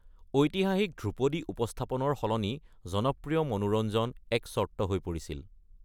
ঐতিহাসিক ধ্ৰুপদী উপস্থাপনৰ সলনি জনপ্ৰিয় মনোৰঞ্জন এক চৰ্ত হৈ পৰিছিল।